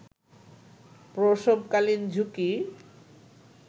প্রসবকালীন ঝুঁকি